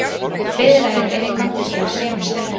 Viðræður eru í gangi á þremur stöðum.